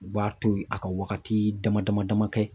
U b'a to yen a ka wagati dama dama dama kɛ.